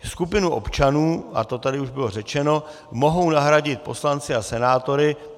Skupinu občanů, a to tady už bylo řečeno, mohou nahradit poslanci a senátoři.